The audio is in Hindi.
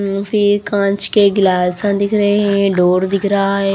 फिर कांच के गिलास अ दिख रहे हैं डोर दिख रहा है।